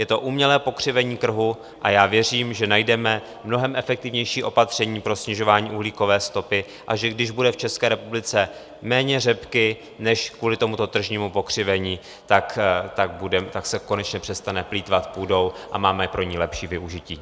Je to umělé pokřivení trhu a já věřím, že najdeme mnohem efektivnější opatření pro snižování uhlíkové stopy, a že když bude v České republice méně řepky než kvůli tomuto tržnímu pokřivení, tak se konečně přestane plýtvat půdou a máme pro ni lepší využití.